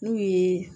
N'u ye